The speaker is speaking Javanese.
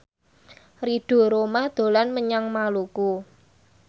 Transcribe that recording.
Ridho Roma dolan menyang Maluku